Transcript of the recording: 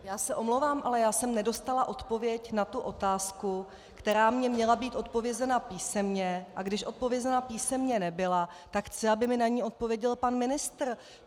Já se omlouvám, ale já jsem nedostala odpověď na tu otázku, která mi měla být zodpovězena písemně, a když zodpovězena písemně nebyla, tak chci, aby mi na ni odpověděl pan ministr.